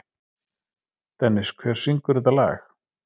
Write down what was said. Dennis, hver syngur þetta lag?